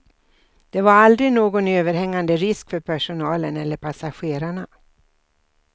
Det var aldrig någon överhängande risk för personalen eller passagerarna.